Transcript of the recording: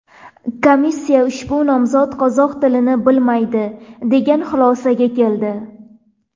Komissiya ushbu nomzod qozoq tilini bilmaydi degan xulosaga keldi.